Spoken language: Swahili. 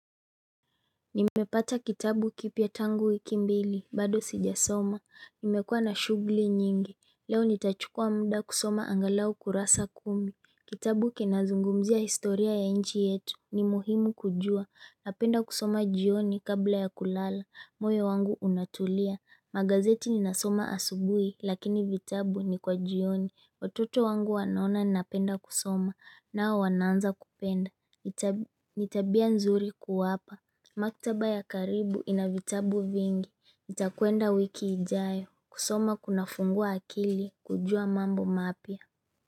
Nimepata kitabu kipya tangu wiki mbili, bado sijasoma, nimekua na shughuli nyingi, leo nitachukua muda kusoma angalau kurasa kumi. Kitabu kinazungumzia historia ya nchi yetu, ni muhimu kujua, napenda kusoma jioni kabla ya kulala, moyo wangu unatulia. Magazeti ninasoma asubui, lakini vitabu ni kwa jioni, watoto wangu wanaona ninapenda kusoma, nao wanaanza kupenda, ni tabia nzuri kuwapa. Maktaba ya karibu ina vitabu vingi, nitakuenda wiki ijayo, kusoma kunafungua akili, kujua mambo mapya.